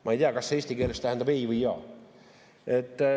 Ma ei tea, kas see eesti keeles tähendab ei või jaa.